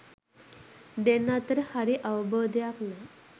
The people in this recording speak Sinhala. දෙන්නා අතර හරි අවබෝධයක් නෑ